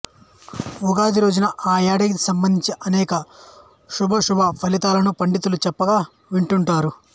ఉగాది రోజున ఆ ఏడాదికి సంబంధించి అనేక శుభాశుభ ఫలితాలను పండితులు చెప్పగా వింటుంటారు